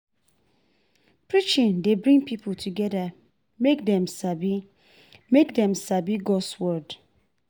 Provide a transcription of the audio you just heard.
Preaching dey bring pipo together mek dem sabi mek dem sabi God’s word.